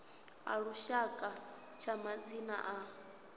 a lushaka tsha madzina a